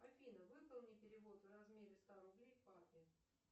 афина выполни перевод в размере ста рублей папе